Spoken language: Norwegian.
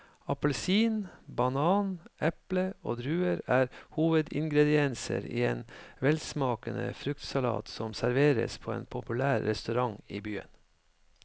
Appelsin, banan, eple og druer er hovedingredienser i en velsmakende fruktsalat som serveres på en populær restaurant i byen.